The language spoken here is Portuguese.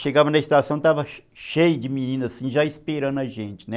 Chegava na estação, estava cheio de meninas assim, já esperando a gente, né?